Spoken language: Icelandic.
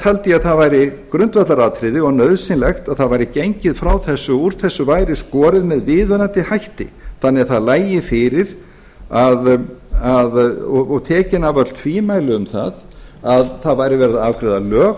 taldi ég að það væri grundvallaratriði og nauðsynlegt að það væri gengið frá þessu og úr þessu væri skorið með viðunandi hætti þannig að það lægi fyrir og tekin af öll tvímæli um að það væri verið að afgreiða lög